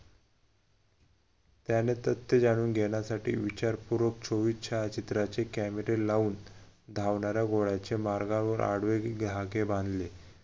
त्याने तर ते जाणून घेण्यासाठी विचारपूर्वक चोवीस छायाचित्राचे कॅमेरे लावून धावणाऱ्या घोड्याच्या मार्गावर आडवे धागे बांधले